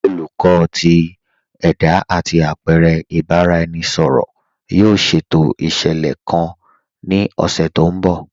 Olùkọ̀ tì ẹda àti apẹ̀rẹ̀ ìbàráẹnisọ̀rọ̀ yóò ṣétò iṣẹ́lẹ̀ kàn ní ọṣẹ̀ tó nbọ̀.